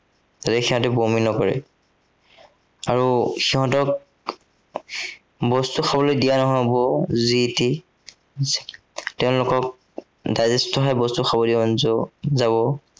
যদিহে সিহঁতি বমি নকৰে। আৰু সিহঁতক বস্তু খাবলে দিয়া নহব যি তি। উম তেওঁলোকক digest অহা বস্তুহে খাব দিব পৰা যাব, যদিহে সিহঁতে বমি নকৰে।